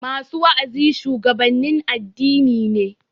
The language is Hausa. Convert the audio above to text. Masu wa'azi shuwagabannin addini ne